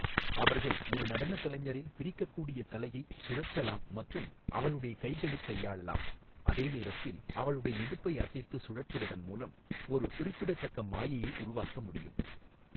அவர்கள் ஒரு நடனக் கலைஞரின் பிரிக்கக்கூடிய தலையை சுழற்றலாம் மற்றும் அவளுடைய கைகளைக் கையாளலாம், அதே நேரத்தில் அவளுடைய இடுப்பை அசைத்து சுழற்றுவதன் மூலம் ஒரு குறிப்பிடத்தக்க மாயையை உருவாக்க முடியும்.